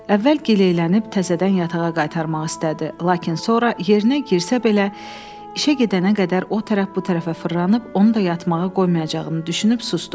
Əvvəl gileylənib təzədən yatağa qaytarmaq istədi, lakin sonra yerinə girsə belə işə gedənə qədər o tərəf bu tərəfə fırlanıb onu da yatmağa qoymayacağını düşünüb susdu.